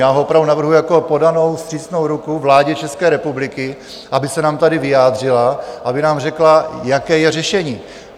Já ho opravdu navrhuji jako podanou vstřícnou ruku vládě České republiky, aby se nám tady vyjádřila, aby nám řekla, jaké je řešení.